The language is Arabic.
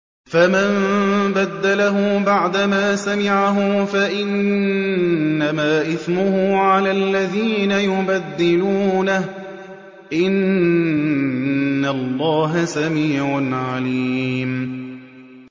فَمَن بَدَّلَهُ بَعْدَمَا سَمِعَهُ فَإِنَّمَا إِثْمُهُ عَلَى الَّذِينَ يُبَدِّلُونَهُ ۚ إِنَّ اللَّهَ سَمِيعٌ عَلِيمٌ